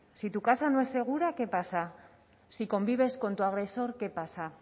si tu casa no es segura qué pasa si convives con tu agresor qué pasa